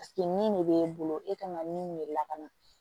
nin de b'e bolo e kan ka min de lakana